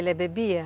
Ele bebia?